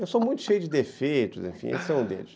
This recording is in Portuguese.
Eu sou muito cheio de defeitos, enfim, esse é um deles.